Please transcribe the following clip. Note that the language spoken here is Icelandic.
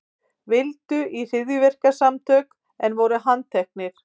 Vildu í hryðjuverkasamtök en voru handteknir